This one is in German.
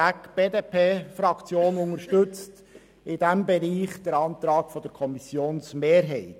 Die BDP-Fraktion unterstützt in diesem Bereich den Antrag der Kommissionsmehrheit.